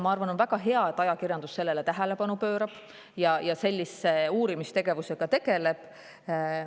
Minu arvates on väga hea, et ajakirjandus sellele tähelepanu pöörab ja sellise uurimistegevusega tegeleb.